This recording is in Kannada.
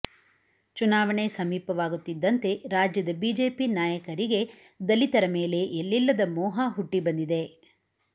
ಚುನಾವಣೆ ಸಮೀಪವಾಗುತ್ತಿದ್ದಂತೆ ರಾಜ್ಯದ ಬಿಜೆಪಿ ನಾಯಕರಿಗೆ ದಲಿತರ ಮೇಲೆ ಎಲ್ಲಿಲ್ಲದ ಮೋಹ ಹುಟ್ಟಿಬಂದಿದೆ